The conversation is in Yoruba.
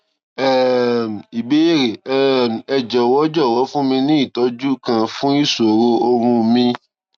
um ìbéèrè um ẹ jọ̀wọ́ jọ̀wọ́ fún mi ní ìtọ́jú kan fún ìṣòro oorun mi